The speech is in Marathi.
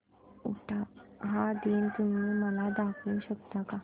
उटाहा दिन तुम्ही मला दाखवू शकता का